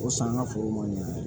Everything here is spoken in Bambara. O san ka foro ma